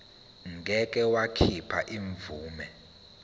ngeke wakhipha imvume